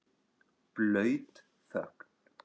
Blaut þögn.